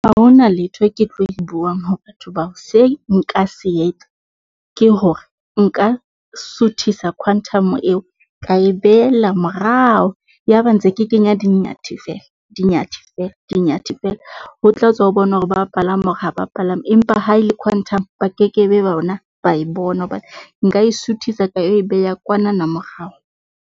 Ha ho na letho ke tlo e buang ho batho bao se nka se etsa ke hore nka suthisa Quantum eo ka e behella morao. Yaba ntse ke kenya di-Nyathi feela, di-Nyathi, di-Nyathi feela. Ho tla tswa ho bona hore ba palama or ha ba palama, empa ha e le Quantum ba kekebe bona ba e bona hobane nka e suthisa ka e beha kwanana morao.